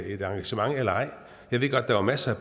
et arrangement eller ej jeg ved godt der var masser